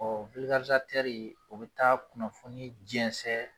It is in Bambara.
o bɛ taa kunnafoni jɛnsɛn